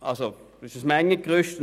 Es handelt sich um ein Mengengerüst;